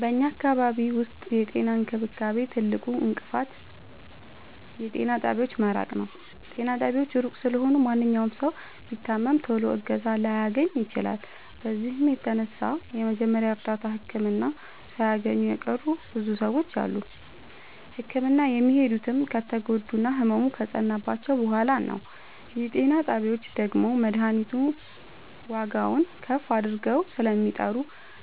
በኛ አካባቢ ዉስጥ የጤና እንክብካቤ ትልቁ እንቅፋት የጤና ጣቢያዎች መራቅ ነዉ። ጤና ጣቢያዎች እሩቅ ስለሆኑ ማንኛዉም ሠዉ ቢታመም ቶሎ እገዛ ላያገኝ ይችላል። በዚህም የተነሣ የመጀመሪያ እርዳታ ህክምና ሣያገኙ የቀሩ ብዙ ሰዎች አሉ። ህክምና የሚሄዱትም ከተጎዱና ህመሙ ከፀናባቸዉ በሗላ ነዉ። የጤና ጣቢያዎች ደግሞ መድሀኒቱን ዋጋዉን ከፍ አድርገዉ ስለሚጠሩ